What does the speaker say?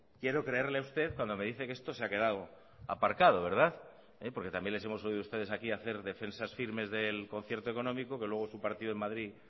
quiero creerle a usted cuando me dice que esto se ha quedado aparcado porque también les hemos oído ustedes aquí hacer defensas firmes del concierto económico que luego su partido en madrid